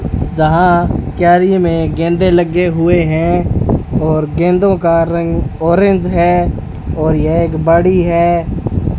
जहां क्यारी में गेंदे लगे हुए हैं और गेंदों का रंग ऑरेंज है और यह एक बड़ी है।